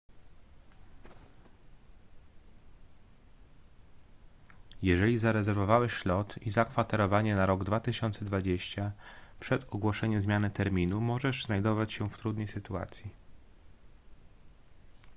jeżeli zarezerwowałeś lot i zakwaterowanie na rok 2020 przed ogłoszeniem zmiany terminu możesz znajdować się w trudnej sytuacji